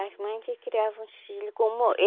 As mães que criavam os filho como